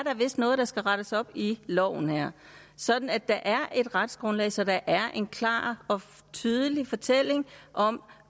noget der skal rettes op i loven her sådan at der er et retsgrundlag så der er en klar og tydelig fortælling om